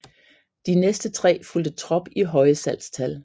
De næste tre fulgte trop i høje salgstal